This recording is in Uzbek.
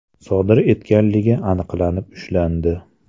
sodir etganligi aniqlanib ushlandi.